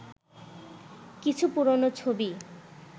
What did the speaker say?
কিছু পুরনো ছবি